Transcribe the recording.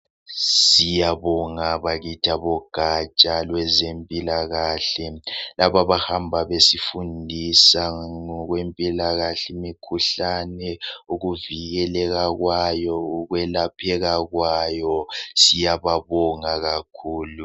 Siyabonga bakithi abogatsha lwezempilakahle. Labo abahamba besifundisa ngokwempilakahle, imkhuhlane, ukuvikeleka kwayo ukwelapheka kwayo. Siyababonga kakhulu.